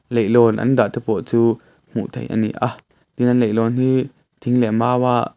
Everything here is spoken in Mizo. leihlawn an dah te pawh chu hmuh theih ani a tin an leihlawn hi thing leh mau a.